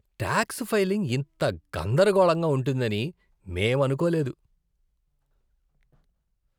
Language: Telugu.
టాక్స్ ఫైలింగ్ ఇంత గందరగోళంగా ఉంటుందని మేం అనుకోలేదు!